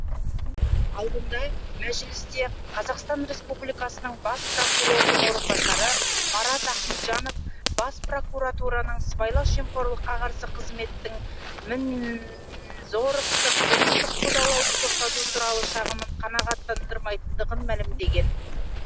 алдында мәжілісте қазақстан республикасы бас прокурордың орынбасары марат ахметжанов бас прокуратураның сыбайлас жемқорлыққа қарсы қызметтің мәнізоровты қылмыстық қудалауды тоқтату туралы шағымын қанағаттандырмайтындығын мәлімдеген